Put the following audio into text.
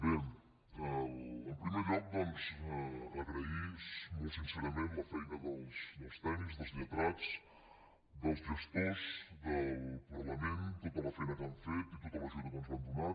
bé en primer lloc doncs agrair molt sincerament la feina dels tècnics dels lletrats dels gestors del parlament tota la feina que han fet i tota l’ajuda que ens van donar